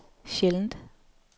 sjældent